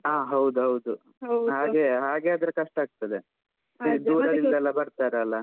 ಹಾ ಹೌದೌದು. ಹಾಗೆ ಹಾಗೆ ಆದ್ರೆ ಕಷ್ಟ ಆಗ್ತದೆ. ಎಷ್ಟು ದೂರದಿಂದ ಎಲ್ಲಾ ಬರ್ತಾರಲ್ಲ.